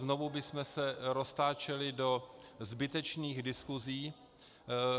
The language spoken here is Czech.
Znovu bychom se roztáčeli do zbytečných diskuzí.